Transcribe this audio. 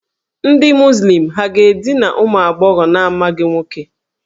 Ndị Muzlim ha ga-edina ụmụ agbọghọ na-amaghị nwoke?